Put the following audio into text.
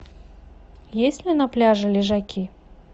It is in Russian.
есть ли на пляже лежаки